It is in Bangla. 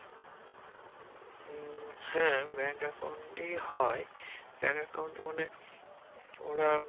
উম হ্যা bank account ই হয় bank account মানে ওরা